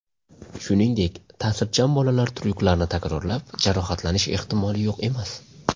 Shuningdek, ta’sirchan bolalar tryuklarni takrorlab, jarohatlanish ehtimoli yo‘q emas.